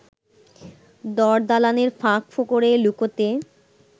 দরদালানের ফাঁক ফোকরে লুকোতে